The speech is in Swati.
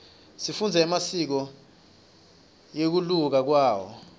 sifundza emasiko ngekunluka kwawo